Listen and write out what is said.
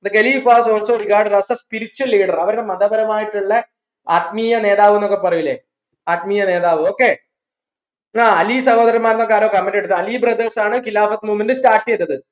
the khalif was also regarded as the spiritual leader അവരുടെ മതപരമായിട്ടുള്ള ആത്മീയനേതാവ് ന്നൊക്കെ പറയൂലെ ആത്മീയനേതാവ് okay എന്നാ അലി സഹോദരന്മാർന്നൊക്കെ ആരോ comment ഇട്ടിട്ടാ അലി brothers ആണ് khilafath movement start ചെയ്തത്